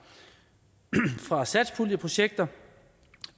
fra satspuljeprojekter